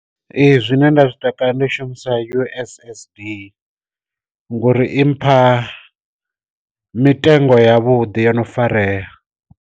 Ee zwine nda zwi takalela ndi shumisa ussd ngori i mpha mitengo ya vhuḓi yo no farea.